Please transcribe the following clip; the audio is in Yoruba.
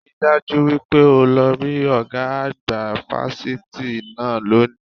Rí i dájú wípé o lọ rí ọ̀gá àgbà fásitì náà lónìí